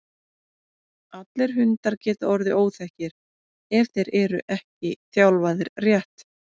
allir hundar geta orðið óþekkir ef þeir eru ekki þjálfaðir rétt